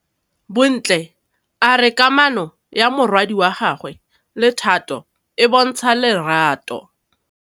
Bontle a re kamanô ya morwadi wa gagwe le Thato e bontsha lerato.